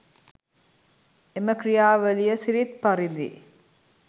එම ක්‍රියාවලිය සිරිත් පරිදි